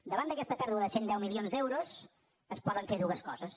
davant d’aquesta pèrdua de cent milions d’euros es poden fer dues coses